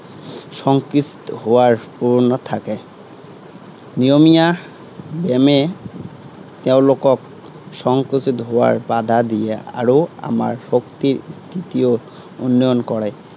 সংকোচিত হোৱাৰ প্ৰৱণতা থাকে। নিয়মীয়া ব্য়ায়ামে তেওঁলোকক সংকোচিত হোৱাৰ বাধা দিয়ে আৰু আমাৰ শক্তিৰ স্থিতও উন্নয়ন কৰে।